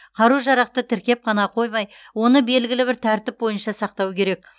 қару жарақты тіркеп қана қоймай оны белгілі бір тәртіп бойынша сақтау керек